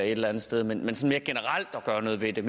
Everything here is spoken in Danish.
et eller andet sted men sådan mere generelt at gøre noget ved det